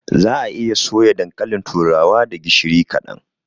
Za'a iya soya dankalin turawa da gishiri kaɗan.